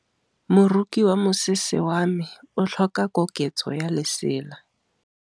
Moroki wa mosese wa me o tlhoka koketsô ya lesela.